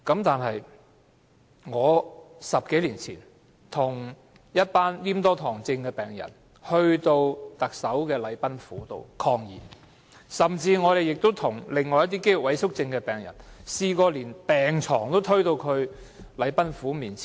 不過 ，10 多年前，我曾與一班黏多醣症病人到行政長官的禮賓府抗議，也曾與一些肌肉萎縮症的病人抗議，當時連病床也推到禮賓府前。